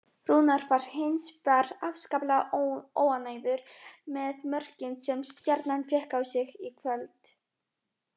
Rúnar var hins vegar afskaplega óánægður með mörkin sem Stjarnan fékk á sig í kvöld.